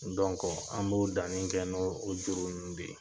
an b'o danni kɛ n'oo o juru ninnu de ye.